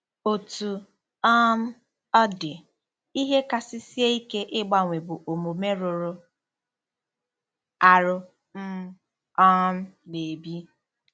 Otú um ọ dị, ihe kasị sie ike ịgbanwe bụ omume rụrụ arụ m um na-ebi.